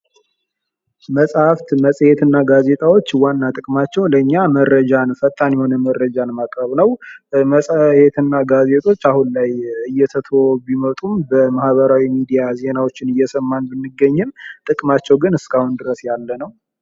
መጽሐፍት መፅሔት እና ጋዜጣዎች ዋና ጥቅማቸው ለእኛ መረጃን ፈጣን መረጃን ማቅረብ ነው። መጽሄት እና ጋዜጦች አሁን ላይ እየተትው ቢመጡ በማህበራዊ ሚዲያ ዜናዎችን እየሰማን ብንገኝም ጥቅማቸው ግን እስካሁን ድረስ ያለ ነው።